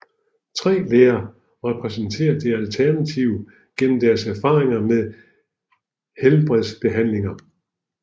Tre læger repræsenterer det alternative gennem deres erfaringer med helhedsbehandling